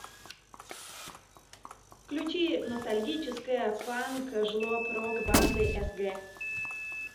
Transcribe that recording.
включи ностальгическая панк жлоб рок банды сг